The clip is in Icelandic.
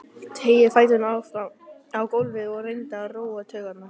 Teygði fæturna fram á gólfið og reyndi að róa taugarnar.